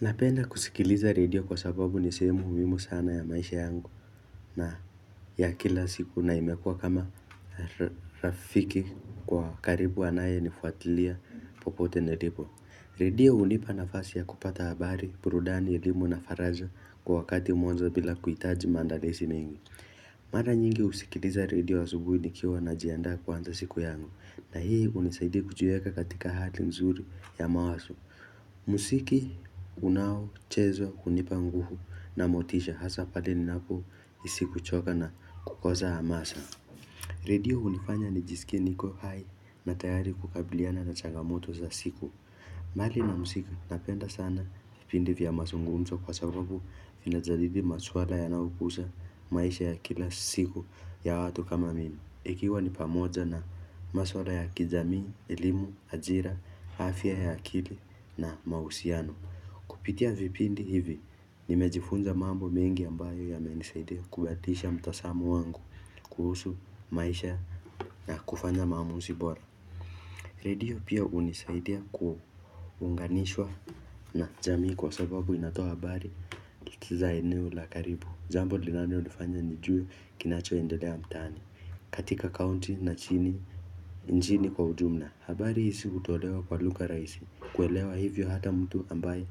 Napenda kusikiliza radio kwa sababu nisehemu muhimu sana ya maisha yangu na ya kila siku na imekua kama rafiki wa karibu anaye ni fuatilia popote nilipo. Radio hunipa na fasi ya kupata habari, burudani elimu na faraja kwa wakati mmoja bila kuhitaji maandalizi mengi. Mara nyingi husikiliza radio asubuhi nikiwa najiandaa kuanza siku yangu na hii unisaidia kujiweka katika hali nzuri ya mawazo. Muziki unao chezwa hunipa nguvu na motisha hasa pale ninapohisi kuchoka na kukosa hamasa Radio hunifanya nijisikie niko hai na tayari kukabiliana na chagamoto za siku mbali na muziki napenda sana vipindi vya mazungumzo kwasababu vinajadili masuala yanayogusa maisha ya kila siku ya watu kama mimi ikiwa ni pamoja na maswala ya kijamii, elimu, ajira, afya ya akili na mahusiano. Kupitia vipindi hivi, nimejifunza mambo mengi ambayo ya menisaidia kubadilisha mtazamo wangu kuhusu maisha na kufanya maamuzi bora. Radio pia hunisaidia kuunganishwa. Na jamii kwa sababu inatoa habari kiza eneo la karibu. Jambo linalo nifanya nijue kinacho endelea mtaani. Katika county na nchni. Nchini kwa ujumla, habari hizi hutolewa kwa lugha rahisi, kuelewa hivyo hata mtu ambaye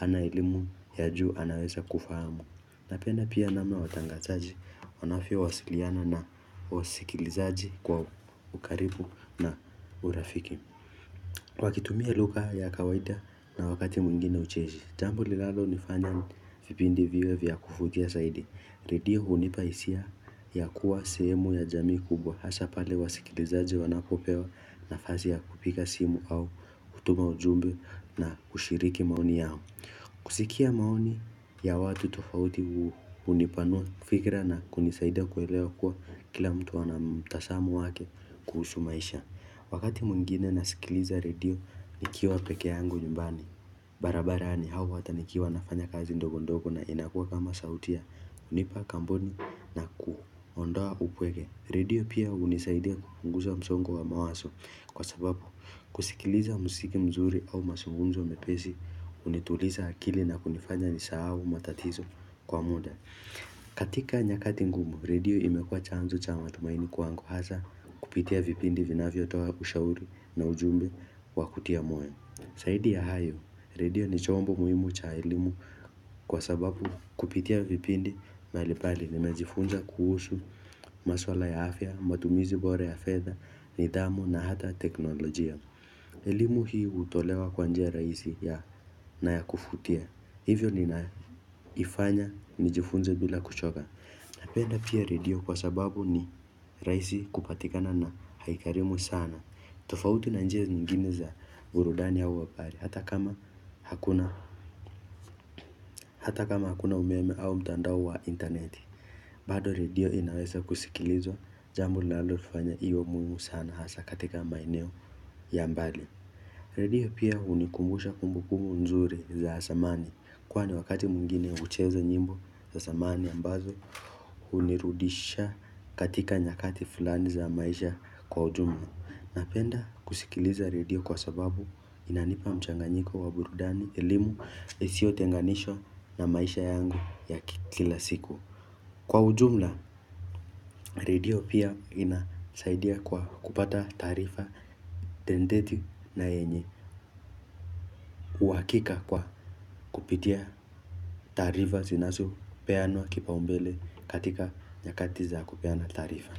ana elimu ya juu anaweza kufahamu. Ninapena pia namna watangazaji, wanavyo wasiliana na wasikilizaji kwa ukaribu na urafiki. Wakitumia lugha ya kawaida na wakati mwingine ucheshi, jambo linalo nifanya vipindi viwe vya kuvutia zaidi. Redio hunipa hisia ya kuwa sehemu ya jamii kubwa hasa pale wasikilizaji wanapopewa nafasi ya kupiga simu au kutuma ujumbe na kushiriki maoni yao kusikia maoni ya watu tofauti unipanua fikira na kunisaida kuelewa kuwa kila mtu ana mtazamo wake kuhusu maisha Wakati mwingine nasikiliza redio nikiwa peke yangu nyumbani barabarani au hata nikiwa nafanya kazi ndogondogo na inakuwa kama sauti ya kunipa kampuni na kuondoa upweke Redio pia hunisaidia kupunguza msongo wa mawazo Kwa sababu kusikiliza muziki mzuri au mazungunzo mepesi Unituliza akili na kunifanya nisahau matatizo kwa muda katika nyakati ngumu, redio imekua chanzo cha matumaini kwangu hasa Kupitia vipindi vinavyo toa kushauri na ujumbe wa kutia moyo zaidi ya hayo, redio ni chombo muhimu cha elimu Kwa sababu kupitia vipindi mbalimbali nimejifunza kuhusu maswala ya afya, matumizi bora ya fedha, nidhamu na hata teknolojia elimu hii hutolewa kwa njia rahisi na ya kuvutia Hivyo ninaifanya nijifunze bila kuchoka Napenda pia redio kwa sababu ni rahisi kupatikana na haigharimu sana tofauti na njia zingine za burudani au habari Hata kama hakuna umeme au mtandao wa interneti bado redio inaweza kusikilizwa jambo linalalofanya iwe muhimu sana hasa katika maeneo ya mbali Redio pia hunikumbusha kumbukumbu nzuri za zamani Kwani wakati mwngine ucheza nyimbo za zamani ambazo Unirudisha katika nyakati fulani za maisha kwa ujumla Ninapenda kusikiliza radio kwa sababu inanipa mchanganyiko wa burudani, elimu, isiyo tenganishwa na maisha yangu ya kila siku. Kwa ujumla, radio pia inasaidia kwa kupata taarifa dendeti na yenye. Uhakika kwa kupitia taarifa zinazo peanwa kipa ombele katika nyakatiza kupeana taarifa.